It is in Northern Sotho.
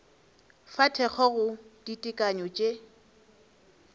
fa thekgo go ditekanyo tše